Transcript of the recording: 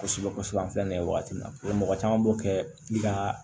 Kosɛbɛ kosɛbɛ an filɛ nin ye wagati min na mɔgɔ caman b'o kɛ pikir